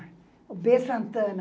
B. Santana.